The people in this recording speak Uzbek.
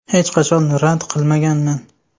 Hech qachon rad qilmaganman.